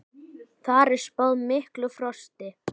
Þar er spáð miklu frosti.